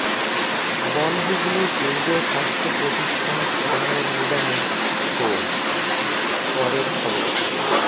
বনহুগলির কেন্দ্রীয় স্বাস্থ্য প্রতিষ্ঠান সরানোর নিদানে ক্ষোভ পরের খবর